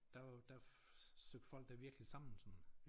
Der der søgte folk da virkelig sammen sådan